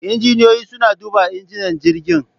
Injiniyoyi suna duba injinan jirgin.